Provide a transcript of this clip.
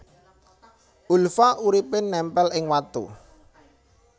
Ulva uripé némpél ing watu